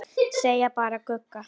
Segja bara Gugga.